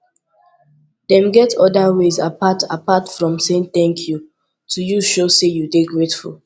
dem get oda ways apart apart from saying thank you to use show say you de grateful